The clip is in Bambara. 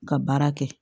Ka baara kɛ